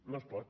no es pot